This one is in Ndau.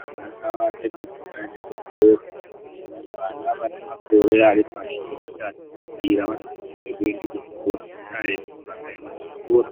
Ana ngava tendezwe vaende ku zvikoro vana vane makore ari pashi pe matatu kukwira vanosise kuende ku zvikoro ngenda yekuti vakaenda ku zvikora